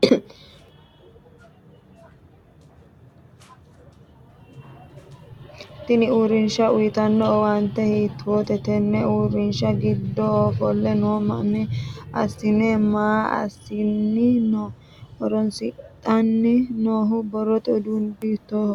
Tinni uurinsha uyitano owaante hiitoote? tenne uurinshara gidoonni ofole noo maa asinni maa asinni no? Horonsidhanni noohu borrote uduunni hiitooho?